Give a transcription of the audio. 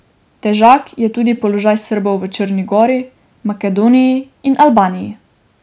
Težak je tudi položaj Srbov v Črni gori, Makedoniji in Albaniji.